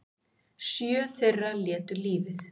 Sjö þeirra létu lífið